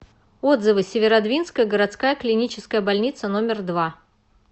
отзывы северодвинская городская клиническая больница номер два